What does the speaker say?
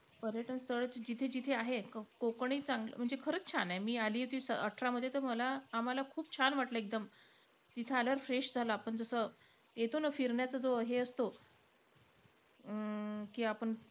पर्यटन स्थळ जिथे-जिथे आहेत. कोकणही चांगला म्हणजे खरंच छान आहे. म्हणजे मी आली होती अठरामध्ये, तर मला आम्हाला खूप छान वाटलं एकदम. तिथं आल्यावर fresh झालं. आपण जसं येतो फिरण्याचं जो हे असतो अं की आपण,